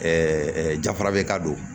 jafara bɛ ka don